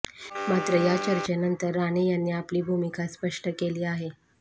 मात्र या चर्चेनंतर राणे यांनी आपली भूमिका स्पष्ट केली आहे